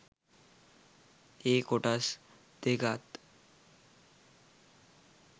ඒ කොටස් දෙකත්